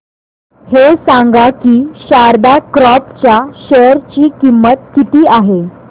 हे सांगा की शारदा क्रॉप च्या शेअर ची किंमत किती आहे